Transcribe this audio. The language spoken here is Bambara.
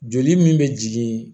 Joli min bɛ jigin